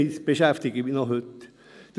Das beschäftigt mich noch heute.